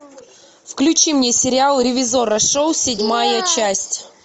включи мне сериал ревизорро шоу седьмая часть